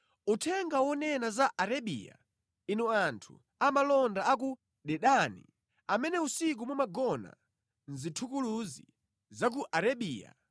Uthenga wonena za Arabiya: Inu anthu amalonda a ku Dedani, amene usiku mumagona mʼzithukuluzi za ku Arabiya,